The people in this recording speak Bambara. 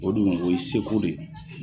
O dun o ye seko de ye.